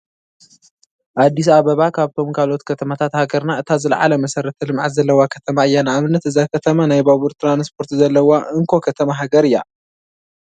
ኣዲስ ኣባባ ካብቶም ካልኦት ከተማታት ሃገርና እታ ዝለዓለ መሰረተ ልምዓት ዘለዋ ከተማ እያ፡፡ ንኣብነት እዛ ከተማ ናይ ባቡር ትራንፖርት ዘለዋ እንኮ ከተማ ሃገር እያ፡፡